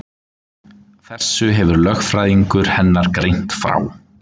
Þessu hefur lögfræðingur hennar greint frá